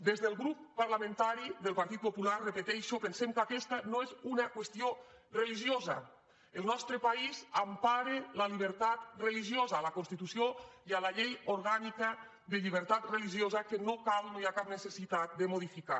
des del grup parlamentari del partit popular ho repeteixo pensem que aquesta no és una qüestió religiosa el nostre país empara la llibertat religiosa a la constitució i a la llei orgànica de llibertat religiosa que no cal no hi ha cap necessitat de modificar